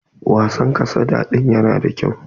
Wasan kasada din yana da kyau.